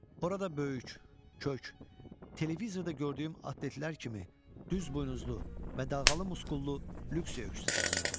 Orada böyük, kök, televizorda gördüyüm atletlər kimi düz buynuzlu və dalğalı muskullu lüks öküz dayanırdı.